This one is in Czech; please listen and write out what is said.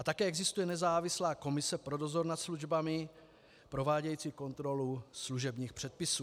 A také existuje nezávislá komise pro dozor nad službami provádějící kontrolu služebních předpisů.